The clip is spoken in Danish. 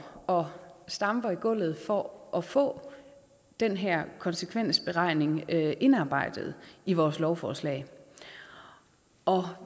og stamper i gulvet for at få den her konsekvensberegning indarbejdet i vores lovforslag og